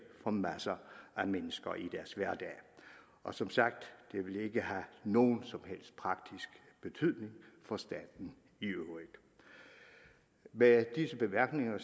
for masser af mennesker i deres hverdag og som sagt vil det ikke have nogen som helst praktisk betydning for staten i øvrigt med disse bemærkninger